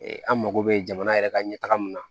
Ee an mako bɛ jamana yɛrɛ ka ɲɛtaga min na